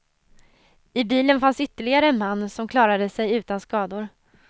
I bilen fanns ytterligare en man, som klarade sig utan skador.